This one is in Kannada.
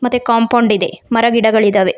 ಮತ್ತೆ ಕಾಂಪೌಂಡ್ ಇದೆ ಮರ ಗಿಡಗಳ ಇದಾವೆ.